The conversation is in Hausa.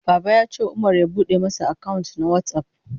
Baba ya ce Umar ya bude masa account na WhatsApp.